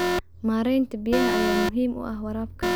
Maareynta biyaha ayaa muhiim u ah waraabka.